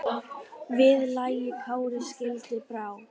Við lagi Kári skildi brá.